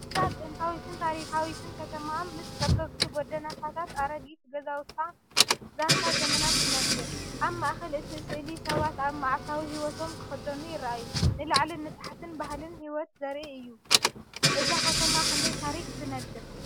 እዛ ጥንታዊትን ታሪኻዊትን ከተማ፡ ምስ ጸበብቲ ጎደናታታን ኣረጊት ገዛውታን፡ ዛንታ ዘመናት ትነግር። ኣብ ማእከል እቲ ስእሊ፡ ሰባት ኣብ መዓልታዊ ህይወቶም ክኸዱ ይረኣዩ፡፡ ንላዕልን ታሕትን ባህልን ህይወትን ዘርኢ እዩ። እዛ ከተማ ክንደይ ታሪኽ ትነግር?